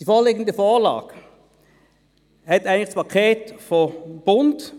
Die vorliegende Vorlage basiert eigentlich auf dem Paket des Bundes: